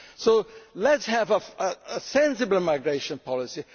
our countries. So let us have a sensible migration